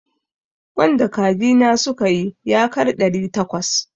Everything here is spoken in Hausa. Ƙwan da kaji na suka yi yakar ɗari takwas.